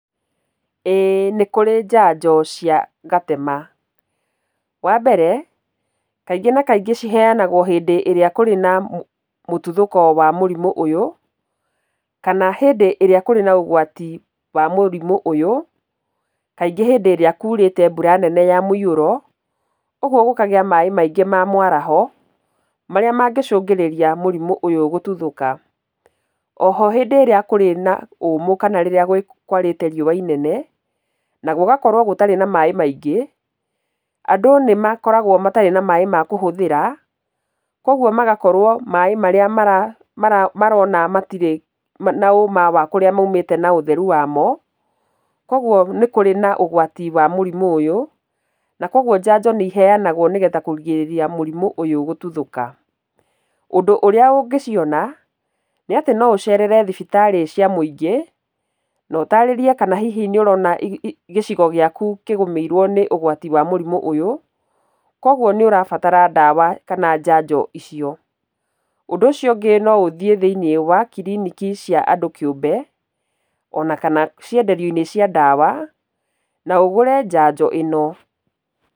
Ĩĩ nĩkũrĩ njanjo cia gatema. Wambere, kaingĩ na kaingĩ ciheanagwo hĩndĩ ĩrĩa kũrĩ na mũtuthũko wa mũrimũ ũyũ, kana hĩndĩ ĩrĩa kũrĩ na ũgwati wa mũrimũ ũyũ, kaingĩ hĩndĩ ĩrĩa kurĩte mbura nene ya mũihũro, ũguo gũkagĩa maaĩ maingĩ ma mwaraho, marĩa mangĩcũngĩrĩria mũrimũ ũyũ gũtuthũka. Oho rĩrĩa kũrĩ na ũmũ kana rĩrĩa kwarĩte riũwa inene, na gũgakorwo gũtarĩ na maaĩ maingĩ, andũ nĩnmakoragwo matarĩ na maaĩ ma kũhũthĩra, kwa ũguo magakorwo maaĩ marĩa marona matirĩ na ũma wa kũrĩa maumĩta na ũtheru wamo, koguo nĩ kũrĩ na ũgwati wa mũrimũ ũyũ, na koguo njanjo nĩ iheanagwo nĩgetha kũrigĩrĩria mũrimũ ũyũ gũtuthũka. Ũndũ ũrĩa ũngĩciona, nĩ atĩ noũcerere thibitarĩ cia mũingĩ, na ũtarĩrie kana nĩũrona gĩcigo gĩaku kĩgũmĩirwo nĩ ũgwati wa mũrimũ ũyũ, koguo nĩ ũrabatara ndawa kana njanjo icio. Ũndũ ũcio ũngĩ noũthiĩ thĩinĩ wa kiriniki cia andũ kĩũmbe, onakana cienderio-inĩ cia ndawa, na ũgũre njanjo ĩno.